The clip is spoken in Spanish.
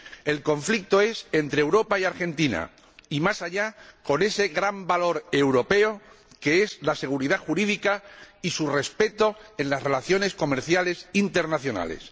El conflicto es entre Europa y Argentina y, más allá, con ese gran valor europeo que es la seguridad jurídica y su respeto en las relaciones comerciales internacionales.